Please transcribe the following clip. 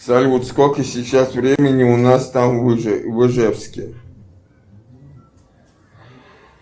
салют сколько сейчас времени у нас там в ижевске